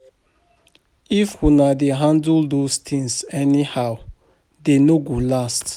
If una dey handle those things anyhow dey no go last